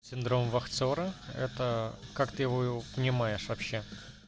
синдром вахтера это как ты его понимаешь вообще